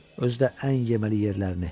Özü də ən yeməli yerlərini.